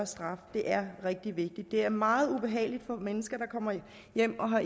straf det er rigtig vigtigt det er meget ubehageligt for mennesker at komme hjem og